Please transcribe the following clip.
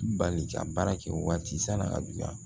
Bali ka baara kɛ waati san'a ka juguya